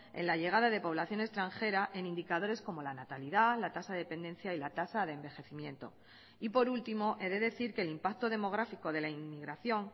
en la llegada de población extranjera en indicadores como la natalidad la tasa de dependencia y la tasa de envejecimiento y por último he de decir que el impacto demográfico de la inmigración